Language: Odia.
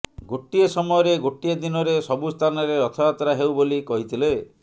ଗୋଟିଏ ସମୟରେ ଗୋଟିଏ ଦିନରେ ସବୁସ୍ଥାନରେ ରଥଯାତ୍ରା ହେଉ ବୋଲି କହିଥିଲେ